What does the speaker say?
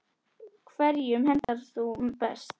Hverjum hentar hún best?